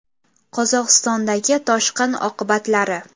Qozog‘istondagi toshqin oqibatlari.